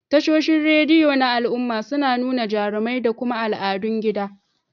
Tashoshin rediyo na al'umma suna nuna jarumai da kuma al'adun gida.